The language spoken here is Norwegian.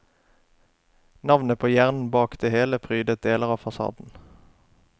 Navnet på hjernen bak det hele prydet deler av fasaden.